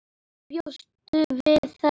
Bjóstu við þessu?